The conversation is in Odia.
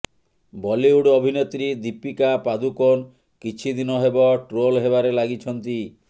ବଲିଉଡ ଅଭିନେତ୍ରୀ ଦୀପିକା ପାଦୁକୋନ କିଛି ଦିନ ହେବ ଟ୍ରୋଲ୍ ହେବାରେ ଲାଗିଛନ୍ତି